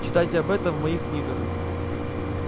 читайте об этом в моих книгах